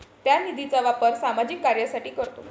त्या निधीचा वापर सामाजिक कार्यासाठी करतो.